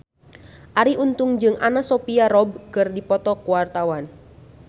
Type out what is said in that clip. Arie Untung jeung Anna Sophia Robb keur dipoto ku wartawan